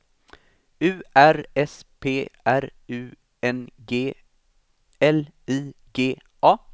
U R S P R U N G L I G A